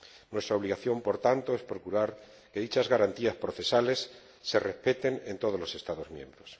Nuestra obligación, por tanto, es procurar que dichas garantías procesales se respeten en todos los Estados miembros.